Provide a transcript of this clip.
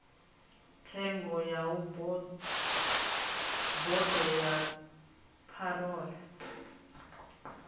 tsengo ya bodo ya parole